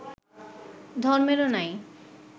ধর্মেরও নাই